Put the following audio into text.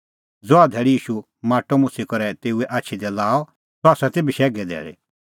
ज़हा धैल़ी ईशू माटअ मुछ़ी करै तेऊए आछी दी लाअ सह ती बशैघे धैल़ी